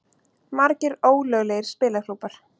Margir ólöglegir spilaklúbbar